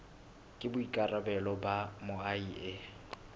ke boikarabelo ba moahi e